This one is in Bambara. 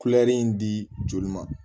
Kulɛri in di ma